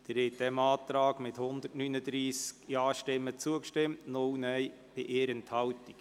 Sie haben diesem Antrag mit 139 Ja-Stimmen zugestimmt bei 0 Nein-Stimmen und 1 Enthaltung.